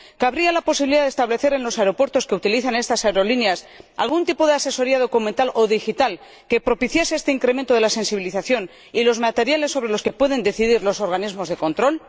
¿Cabría la posibilidad de establecer en los aeropuertos que utilizan estas aerolíneas algún tipo de asesoría documental o digital que propicie este incremento de la sensibilización y los materiales sobre los que pueden decidir los organismos de control?